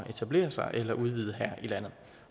etablere sig eller udvide her i landet